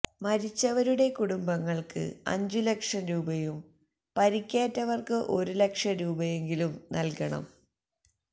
മരിച്ചവരുടെ കുടുംബങ്ങൾക്ക് അഞ്ചു ലക്ഷം രൂപയും പരുക്കേറ്റവർക്ക് ഒരു ലക്ഷം രൂപയുമെങ്കിലും നൽകണം